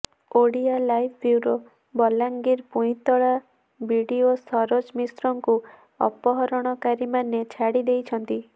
OdiaLive bureau Balangir Puintala BDO Saroj ମିଶ୍ରଙ୍କୁ ଅପହରଣକାରୀମାନେ ଛାଡ଼ି ଦେଇଛନ୍ତି